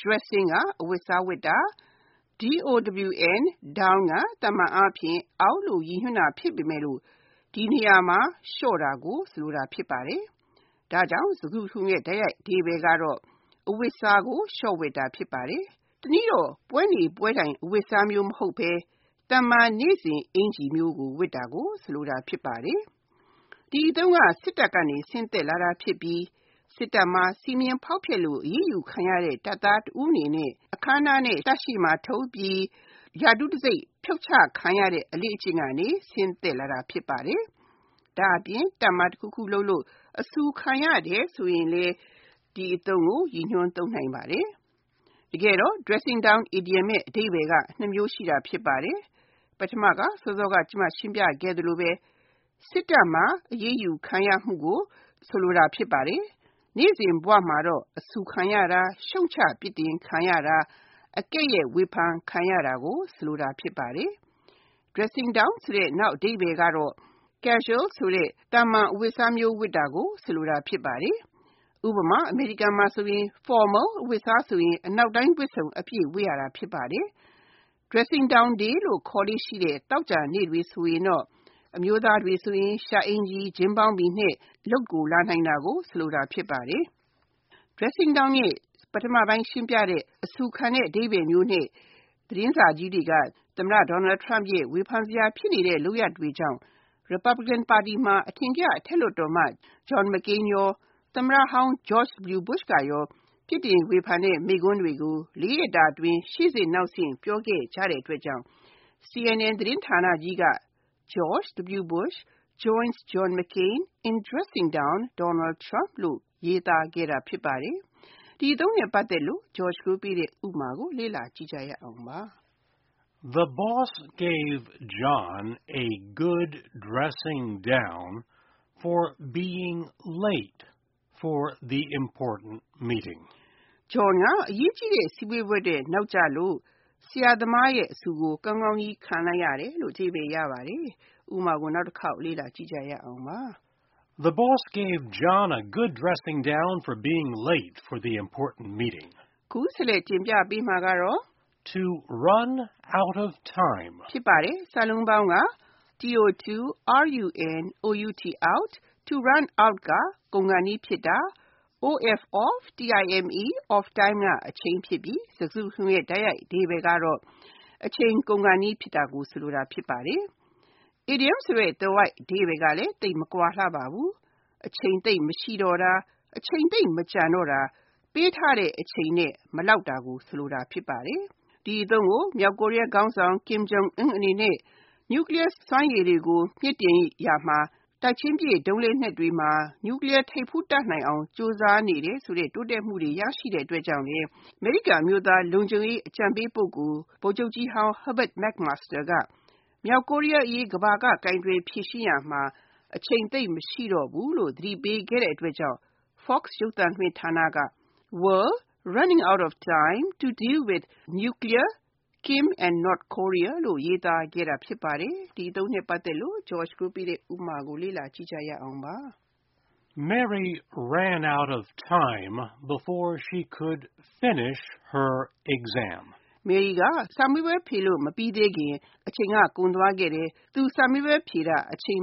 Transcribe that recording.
Dressing (အဝတ်အစားဝတ်တာ)၊ down က သာမန်အားဖြင့် “အောက်” လို့ ရည်ညွှန်းတာဖြစ်ပမယ့် ဒီနေရာမှာ လျှော့တာကို ဆိုလိုတာဖြစ်ပါတယ်။ စကားစုတခုလုံးရဲ့ တိုက်ရိုက်အဓိပ္ပါယ်က အဝတ်အစားကို လျှော့ဝတ်တာ ဖြစ်ပါတယ်။ တနည်းတော့ ပွဲနေပွဲထိုင် အဝတ်အစားမျိုး မဟုတ်ဘဲ၊ သာမန်နေ့စဉ်အင်္ကျ ီမျိုးကို ဝတ်တာဖြစ်ပါတယ်။ ဒီအသုံးက စစ်တပ်က ဆင်းသက်လာတာဖြစ်ပြီး၊ စစ်တပ်မှာ စည်းမျဉ်းဖောက်ဖျက်လို့ အရေးယူခံရတဲ့ တပ်သားတဦးအနေနဲ့ အခမ်းအနားနဲ့ တပ်ရှေ့မှာထုတ်ပြီး ရာထူးတံဆိပ် ဖြုတ်ချခံရတဲ့ အလေ့အကျင့်ကနေ ဆင်းသက်လာတာ ဖြစ်ပါတယ်။ ဒါ့အပြင် တပ်မှာတခုခုလုပ်လို့ အဆူခံရတယ်ဆိုရင်လည်း ဒီအသုံးကို ရည်ညွှန်းသုံးနိုင်ပါတယ်။ တကယ်တော့ Dressing down အီဒီယံအဓိပ္ပါယ်က နှစ်မျိုးရှိတာ ဖြစ်ပါတယ်။ ပထမက စောစောက ကျမ ရှင်းပြခဲ့သလို စစ်တပ်မှာ အရေးယူခံရမှုကို ဆိုလိုတာ ဖြစ်ပါတယ်။ နေ့စဉ်ဘဝမှာတော့ အဆူခံရတာ၊ ရှုတ်ချပြစ်ဒဏ်ခံရတာ၊ အကဲ့ရဲ့ဝေဖန်ခံရတာကို ဆိုလိုတာ ဖြစ်ပါတယ်။ Dressing down နောက်အဓိပ္ပါယ်ကတော့ Casual ဆိုတဲ့ သာမန်အဝတ်အစားမျိုး ဝတ်တာကို ဆိုလိုတာ ဖြစ်ပါတယ်။ ဥပမာ အမေရိကန်နိုင်ငံမှာဆို Formal အဝတ်အစားဆိုရင် အနောက်တိုင်းဝတ်စုံအပြည့် ဝတ်ရတာ ဖြစ်ပါတယ်။ Dressing down day လို့ ခေါ်လေ့ရှိတဲ့ သောကြာနေ့တွေဆိုရင်တော့ အမျိုးသားတွေဆိုရင် ရှပ် အင်္ကျ ီ၊ ၈ျင်းဘောင်းဘီနဲ့ အလုပ်ကိုလာနိုင်တာကို ဆိုလိုခြင်း ဖြစ်ပါတယ်။ Dressing down ရဲ့ ပထမပိုင်းရှင်းပြတဲ့ အဆူခံတဲ့ အဓိပ္ပါယ်မျိုးနဲ့ သမ္မတ Donald Trump ရဲ့ ဝေဖန်ဖြစ်နေတဲ့ လုပ်ရပ်တွေကြောင့် Republican ပါတီမှာ အထင်ကရ အထက်လွှတ်တော်အမတ် John McCain နဲ့ သမ္မတဟောင်း George W. Bush တို့က ပြစ်တင်ဝေဖန်တဲ့ မိန့်ခွန်းတွေကို လေးရက်တာအတွင်း ရှေ့ဆင့်နောက်ဆင့် ပြောခဲ့ကြတဲ့အတွက်ကြောင့် CNN သတင်းဌာနကြီးကခေါင်းကြီးမှာ George W. Bush joins John McCain in dressing down Donald Trump လို့ ရေးသားခဲ့တာ ဖြစ်ပါတယ်။ ဒီအသုံးနဲ့ပတ်သက်တဲ့ ဥပမာကို လေ့လာကြည့်ရအောင်ပါ။ The boss gave John a good dressing down for being late for the important meeting. John က အရေးကြီးတဲ့ အစည်းအဝေးကိုရောက်လာတာ နောက်ကျလို့ ဆရာသမားရဲ့ အဆူအပူကို ကောင်းကောင်းကြီး ခံလိုက်ရတယ်။ (၂) To run out of time To run out (ကုန်ခါနီးဖြစ်တာ)၊ of time (အချိန်) ဖြစ်ပြီး စကားစုတခုလုံးရဲ့ တိုက်ရိုက်အဓိပ္ပါယ်က အချိန်ကုန်ခါနီးဖြစ်တာ ဖြစ်ပါတယ်။ အီဒီယံသွယ်ဝိုက်အဓိပ္ပါယ်ကလည်း သိပ်မကွာလှပါဘူး။ အချိန်သိပ်မရှိတော့တာ၊ အချိန်သိပ်မကျန်တော့တာ၊ ပေးထားတဲ့အချိန်နဲ့ မလောက်တာကို ဆိုလိုပါတယ်။ ဒီအသုံးကို မြောက်ကိုရီးယားခေါင်းဆောင် Kim Jong-un အနေနဲ့ နျူကလီးယားလက်နက်စွမ်းရည်ကိုတိုးမြှင့်ရာမှာ တိုက်ချင်းပစ်ဒုံးလက်နက်တွေမှာ နျူကလီးယားထိပ်ဖူး တပ်နိုင်အောင် ကြိုးစားနေတယ်ဆိုတဲ့ တိုးတက်မှုတွေ ရရှိနေတယ်ဆိုတဲ့သတင်းတွေကြောင့်လည်း အမေရိကန်အမျိုးသား လုံခြုံရေးအကြံပေး ပုဂ္ဂိုလ် ဗိုလ်ချုပ်ကြီးဟောင်း Herbert McMaster က မြောက်ကိုရီးယားအရေး ကမ္ဘာက ကိုင်တွယ်ဖြေရှင်းရာမှာ အချိန်သိပ်မရှိတော့ဘူးလို့ သတိပေးခဲ့တဲ့အတွက်ကြောင့် Fox ရုပ်သံလွှင့်ဌာနက World 'running out of time' to deal with Nuclear Kim and North Korea လို့ ရေးသားခဲ့တာ ဖြစ်ပါတယ်။ ဒီအီဒီယံအသုံးနဲ့ ပတ်သက်တဲ့ ဥပမာကို လေ့လာကြည့်ရအောင်ပါ။ Mary ran out of time before she could finish answering the last question of her exam. Mary က စာမေးပွဲမှာနောက်ဆုံးမေးခွန်းကိုဖြေလို့မပြီသေးခင်အချိန်ကုန်သွားခဲ့တယ်။ (၃) Back into a corner Back into (တွန်းပို့ခံရတာ)၊ corner (ထောင့်) ဆိုတော့ စကားစုတခုလုံ